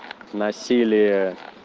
насилие